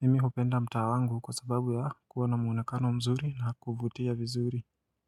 Mimi hupenda mtaa wangu kwa sababu ya kuwa na muunekano mzuri na kuvutia vizuri.